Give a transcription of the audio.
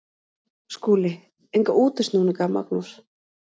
SKÚLI: Enga útúrsnúninga, Magnús.